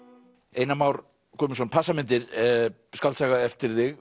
Einar Már Guðmundsson passamyndir skáldsaga eftir þig